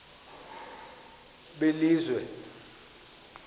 belizwe